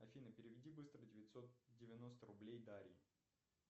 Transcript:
афина переведи быстро девятьсот девяносто рублей дарье